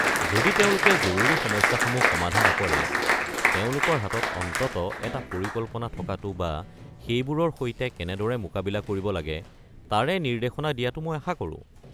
যদি তেওঁলোকে জৰুৰী সমস্যাসমূহ সমাধা নকৰে, তেওঁলোকৰ হাতত অন্ততঃ এটা পৰিকল্পনা থকাটো বা সেইবোৰৰ সৈতে কেনেদৰে মোকাবিলা কৰিব লাগে তাৰে নিৰ্দেশনা দিয়াটো মই আশা কৰোঁ।